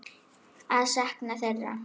Að ég sakna þeirra.